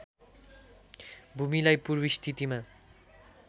भूमिलाई पूर्व स्थितिमा